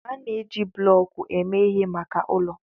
A na-eji bloku eme ihe maka ụlọ.